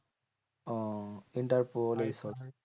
ওহ interpol এইসব